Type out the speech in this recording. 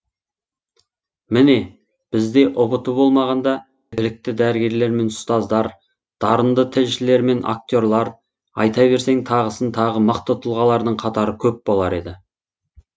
міне бізде ұбт болмағанда білікті дәрігерлер мен ұстаздар дарынды тілшілер мен акте рлар айта берсең тағысын тағы мықты тұлғалардың қатары көп болар еді